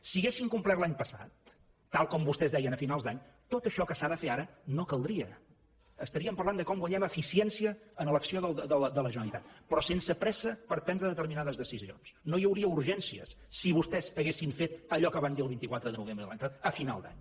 si haguessin complert l’any passat tal com vostès deien a finals d’any tot això que s’ha de fer ara no caldria estaríem parlant de com guanyem eficiència en l’acció de la generalitat però sense pressa per prendre determinades decisions no hi hauria urgències si vostès haguessin fet allò que van dir el vint quatre de novembre de l’any passat a final d’any